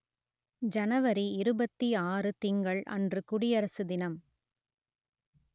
ஜனவரி இருபத்தி ஆறு திங்கள் அன்று குடியரசு தினம்